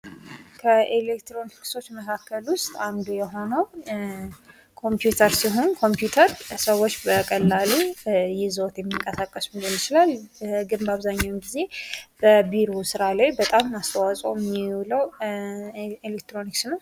ከኤሌክትሮኒክሶች መካከል ውስጥ አንዱ የሆነው ኮምፒውተር ሲሆን ኮምፒዩተር ሰዎች በቀላሉ ይዘው የሚንቀሳቀሱት ሊሆን ይችላል ነገር ግን በአብዛኛውን ጊዜ በቢሮ ስራ ላይ በጣም አስተዋጽኦ የሚውለው ኤሌክትሮኒክስ ነው።